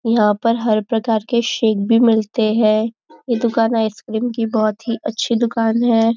यहाँ पर हर प्रकार के शेक भी मिलते हैं यह दुकान आइसक्रीम की बहुत ही अच्छी दुकान है।